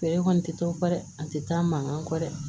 Fɛɛrɛ kɔni tɛ dɔ ba dɛ an tɛ taa mankan kɔ dɛ